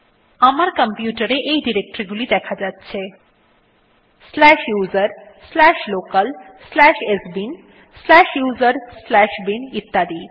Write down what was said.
আমার কম্পিউটার এ এই ডিরেক্টরী গুলি দেখা যাচ্ছে slash USR slash local slash sbin slash USR slash bin ইত্যাদি